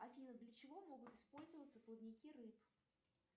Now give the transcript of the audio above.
афина для чего могут использоваться плавники рыб